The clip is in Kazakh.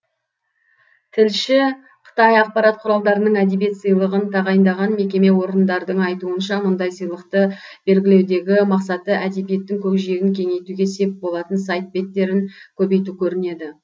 тілші қытай ақпарат құралдарының әдебиет сыйлығын тағайындаған мекеме орындардың айтуынша мұндай сыйлықты белгілеудегі мақсаты әдебиеттің көкжиегін кеңейтуге сеп болатын сайт беттерін көбейту көрінеді